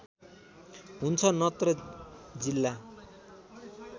हुन्छ नत्र जिल्ला